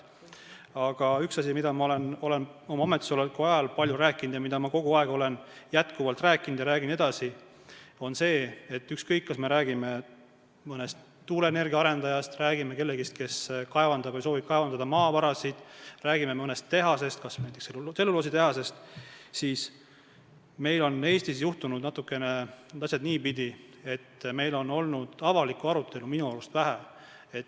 Aga üks asi, millest ma olen oma ametisoleku ajal palju rääkinud, millest ma olen kogu aeg rääkinud ja räägin edasi, on see, et ükskõik, kas me räägime mõnest tuuleenergia arendajast, räägime kellestki, kes kaevandab või soovib kaevandada maavarasid, räägime mõnest tehasest, näiteks tselluloositehasest, siis meil on Eestis juhtunud natukene niipidi, et avalikku arutelu on minu arust olnud vähe.